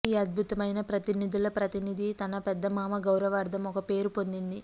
ఈ అద్భుతమైన ప్రతినిధుల ప్రతినిధి తన పెద్ద మామ గౌరవార్ధం ఒక పేరు పొందింది